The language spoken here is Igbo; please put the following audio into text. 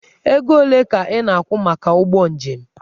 Ego ole ka ị na-akwụ maka ụgbọ njem?